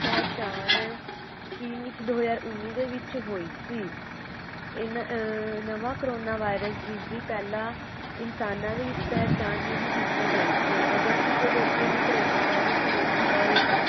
ਪਹਿਚਾਣ ਚੀਨ ਵਿੱਚ ਦੋ ਹਜ਼ਾਰ ਉਨੀ ਦੇ ਵਿਚ ਹੋਈ ਸੀ. ਇਹਨਾਂ ਅਹ ਨਵਾਂ corona virus ਜਿਸ ਦੀ ਪਹਿਲਾ ਇਨਸਾਨਾਂ ਦੇ ਵਿੱਚ ਪਹਿਚਾਣ ਨਹੀਂ ਕੀਤੀ ਗਈ ਸੀ ਅਗਰ ਕਿਸੇ ਵਿਅਕਤੀ ਨੂੰ corona virus ਹੋ ਜਾਂਦਾ ਏ